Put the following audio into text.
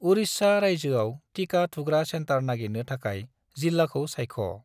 उरिस्सा रायजोआव टिका थुग्रा सेन्टार नागिरनो थाखाय जिल्लाखौ सायख'।